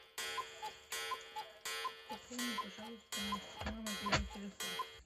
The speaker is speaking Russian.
пополни пожалуйста мой мобильный телефон